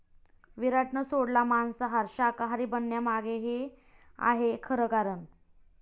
विराटनं सोडला मांसाहार, शाकाहारी बनण्यामागे हे आहे खरं कारण